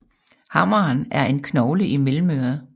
Hammeren er en knogle i mellemøret